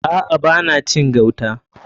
A'a. Ba na cin gauta.